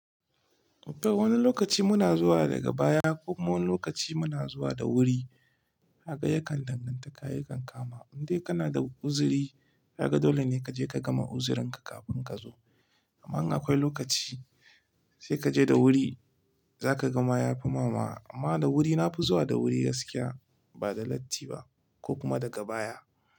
Tabbas wani lokaci muna zuwa daga baya ko kuma wani lokaci muna zuwa da wuri. Kaga yakan danganta kayan kama. Indai kana da uzuri, kaga dole ne kaje ka gama uzurinka kafin kazo. Amma in akwai lokaci sai kaje da wuri za ka ga ma ya fi mama. Amma da wuri nafi zuwa da wuri gaskiya ba da latti ba ko kuma daga baya.